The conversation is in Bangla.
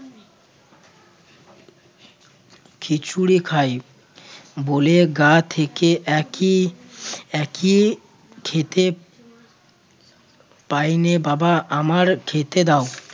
খিচুড়ি খাই বলে গা থেকে একই একই খেতে পাইনে বাবা আমার খেতে দাও